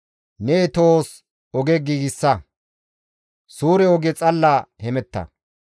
Ne tohos oge giigsa; suure oge xalla hemetta.